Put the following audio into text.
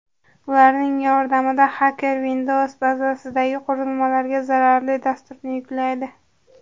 Ularning yordamida xakerlar Windows bazasidagi qurilmalarga zararli dasturni yuklaydi.